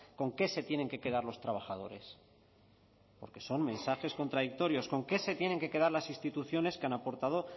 con qué se tienen que quedar los trabajadores porque son mensajes contradictorios con qué se tienen que quedar las instituciones que han aportado